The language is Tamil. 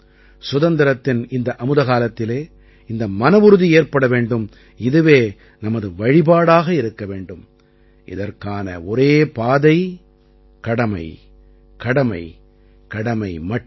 சுதந்திரத்தின் இந்த அமுத காலத்தில் இந்த மனவுறுதி ஏற்பட வேண்டும் இதுவே நமது வழிபாடாக இருக்க வேண்டும் இதற்கான ஒரே பாதை கடமை கடமை கடமை மட்டுமே